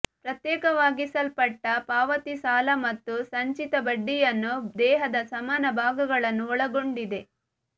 ಪ್ರತ್ಯೇಕವಾಗಿಸಲ್ಪಟ್ಟ ಪಾವತಿ ಸಾಲ ಮತ್ತು ಸಂಚಿತ ಬಡ್ಡಿಯನ್ನು ದೇಹದ ಸಮಾನ ಭಾಗಗಳನ್ನು ಒಳಗೊಂಡಿದೆ